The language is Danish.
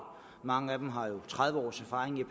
mange af dem har jo tredive års erfaring i